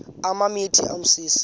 apha emithini umsintsi